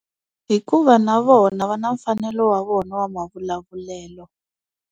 Hikuva na vona va na mfanelo wa vona wa mavulavulelo.